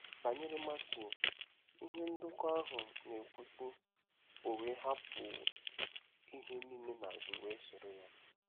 Banyere Matiu, ihe ndekọ ahụ na-ekwu, sị: “ O wee hapụ ihe niile n’azụ, wee soro ya .”